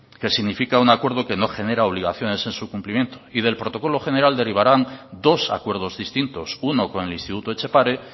que significa un acuerdo que no genera obligaciones en su cumplimiento y del protocolo general derivarán dos acuerdos distintos uno con el instituto etxepare